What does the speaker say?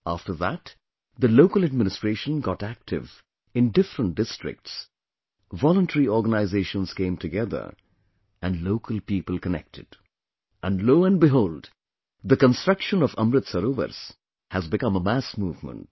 After that, the local administration got active in different districts, voluntary organizations came together and local people connected... and Lo & behold, the construction of Amrit Sarovars has become a mass movement